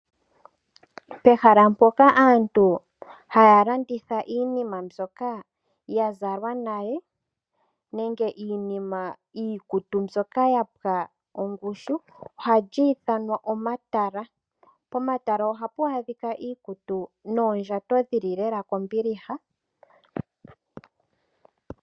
Pehala mpoka aantu haya landitha iinima mbyoka ya zalwa nale nenge iinima ,iikutu mbyoka ya pwa ongushu oha lyi ithanwa omatala. Pomatala ohapu adhika iikutu noondjato dhili lela kombiliha.